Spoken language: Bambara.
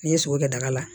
N'i ye sogo kɛ daga la